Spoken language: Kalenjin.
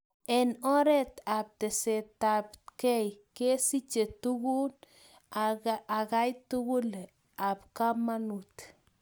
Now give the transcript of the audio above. Eng oret ab tesetait ab kei, kesiche tukum akal tukul ab kamanut